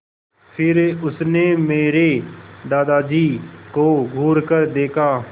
फिर उसने मेरे दादाजी को घूरकर देखा